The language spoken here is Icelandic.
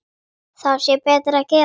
Þá sé betra að gefa.